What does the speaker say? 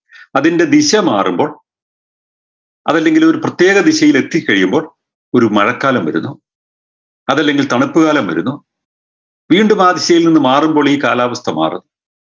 അതിൻറെ ദിശ മാറുമ്പോൾ അതില്ലെങ്കിൽ ഒരു പ്രത്യേക ദിശയിലെത്തിക്കഴിയുമ്പോൾ ഒരു മഴക്കാലം വരുന്നു അതല്ലെങ്കിൽ ഒരു തണുപ്പ്കാലം വരുന്നു വീണ്ടും ആ ദിശയിൽ നിന്ന് മാറുമ്പോൾ ഈ കാലാവസ്ഥ മാറും